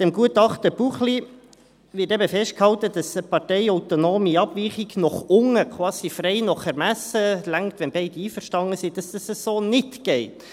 Im Gutachten Buchli wird eben festgehalten, dass eine parteiautonome Abweichung nach unten, quasi frei nach Ermessen – es reicht, wenn beide einverstanden sind – so nicht geht.